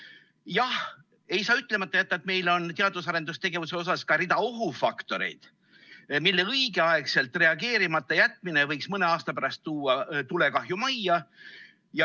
Jah, ei saa ütlemata jätta, et meil on teadus‑ ja arendustegevuse puhul ka rida ohufaktoreid, millele õigeaegselt reageerimata jätmine võiks mõne aasta pärast tuua tulekahju majja.